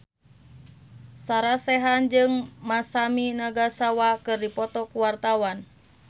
Sarah Sechan jeung Masami Nagasawa keur dipoto ku wartawan